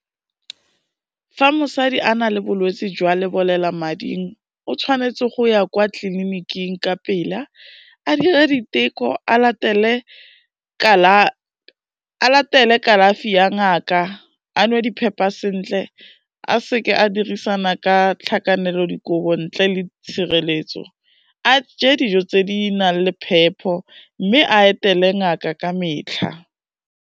Fa mosadi a na le bolwetsi jwa lebolelamading o tshwanetse go ya kwa tliliniking ka pela, a dire diteko, a latele kalafi ya ngaka, a nwe diphepa sentle, a seke a dirisana ka tlhakanelodikobo ntle le tshireletso, a je dijo tse di nang le phepho mme a etele ngaka ka metlha.